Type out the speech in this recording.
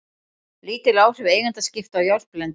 Lítil áhrif eigendaskipta á járnblendi